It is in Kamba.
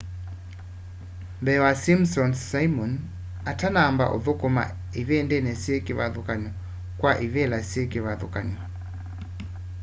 mbee wa simpsons simon atanamba uthukuma ivindini syi kivathukanyo kwa ivila syi kivathukanyo